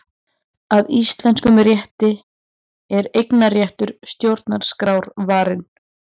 Að íslenskum rétti er eignarréttur stjórnarskrárvarinn